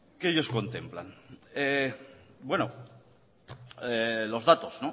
que ellos contemplan bueno los datos